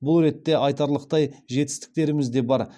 бұл ретте айтарлықтай жетістіктеріміз де бар